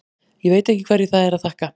Ég veit ekki hverju það er að þakka.